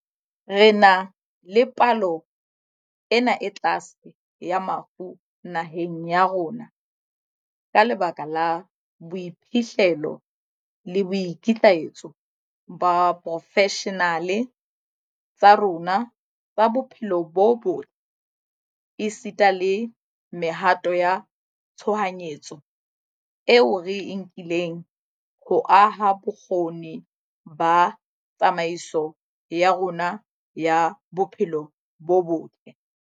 Re na le palo ena e tlase ya mafu naheng ya rona ka lebaka la boiphihlelo le boikitlaetso ba diporofeshenale tsa rona tsa bophelo bo botle, esita le mehato ya tshohanyetso eo re e nkileng ho aha bokgoni ba tsamaiso ya rona ya bophelo bo botle.